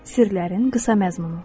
Sirlərin qısa məzmunu.